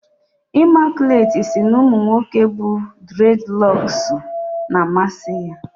Imaculate si na umu nwoke bu dredloksu na-amasi ya